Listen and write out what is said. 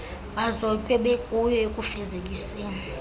bazotywe bekuyo ekufezekiseni